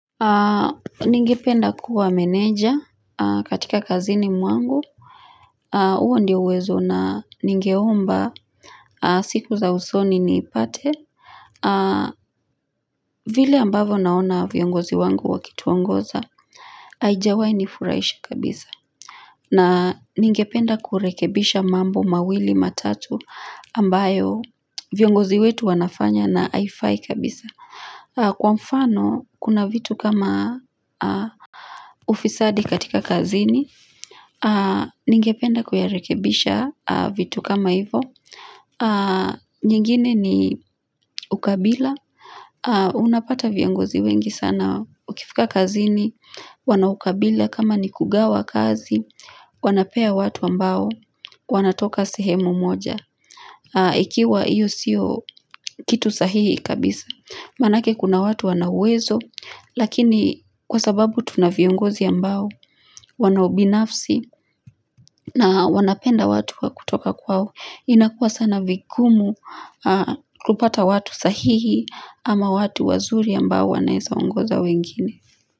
Ningependa kuwa meneja katika kazini mwangu. Huo ndio uwezo na ningeomba siku za usoni niipate vile ambavyo naona viongozi wangu wakituongoza Haijawahi nifurahisha kabisa, na ningependa kurekebisha mambo mawili matatu ambayo viongozi wetu wanafanya na haifai kabisa. Kwa mfano kuna vitu kama ufisadi katika kazini Ningependa kuyarekebisha vitu kama hivo nyingine ni ukabila, unapata viongozi wengi sana ukifika kazini wana ukabila kama ni kugawa kazi Wanapea watu ambao wanatoka sehemu moja Ikiwa iyo sio kitu sahihi kabisa. Maanake kuna watu wana uwezo Lakini kwa sababu tuna viongozi ambao wana ubinafsi na wanapenda watu wa kutoka kwao, inakua sana vigumu kupata watu sahihi ama watu wazuri ambao wanaeza ongoza wengine.